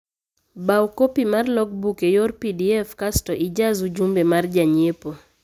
Bau kopi mar logbook eyor pdf kasto ijaz ujumbe mar janyiepo